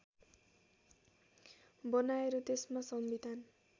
बनाएर त्यसमा संविधान